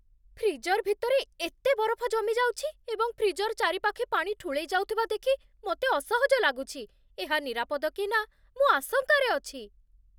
Freezer ଭିତରେ ଏତେ ବରଫ ଜମିଯାଉଛି, ଏବଂ ଫ୍ରିଜର ଚାରିପାଖେ ପାଣି ଠୁଳେଇଯାଉଥିବା ଦେଖି ମୋତେ ଅସହଜ ଲାଗୁଛି, ଏହା ନିରାପଦ କି ନା, ମୁଁ ଆଶଙ୍କାରେ ଅଛି।